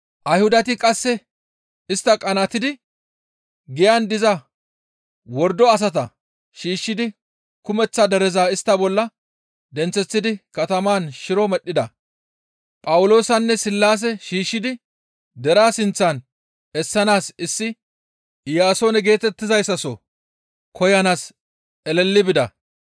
Ayhudati qasse istta qanaatidi giyan diza wordo asata shiishshidi kumeththa dereza istta bolla denththeththidi katamaan shiro medhdhida. Phawuloosanne Sillaase shiishshidi deraa sinththan essanaas issi Iyaasoone geetettizayssaso koyanaas eleli bida.